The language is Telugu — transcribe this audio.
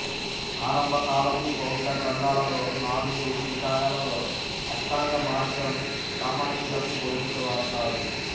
ఆరంభ కాలపు బౌద్ధ గ్రంథాలలో నాలుగు నికాయలలో అష్టాంగ మార్గం సామాన్యులకు బోధించేవారు కారు